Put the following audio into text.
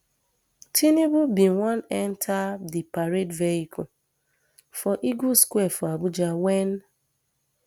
tinubu bin wan enta di parade vehicle for eagle square for abuja wen